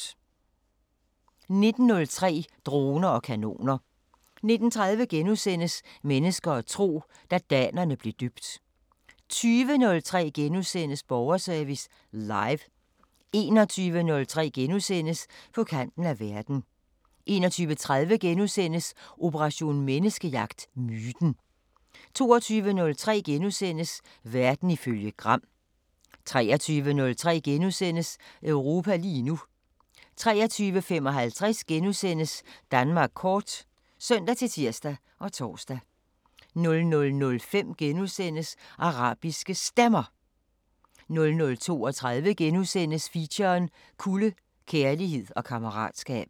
19:03: Droner og kanoner 19:30: Mennesker og tro: Da danerne blev døbt * 20:03: Borgerservice Live * 21:03: På kanten af verden * 21:30: Operation Menneskejagt: Myten * 22:03: Verden ifølge Gram * 23:03: Europa lige nu * 23:55: Danmark kort *(søn-tir og tor) 00:05: Arabiske Stemmer * 00:32: Feature: Kulde – kærlighed og kammeratskab *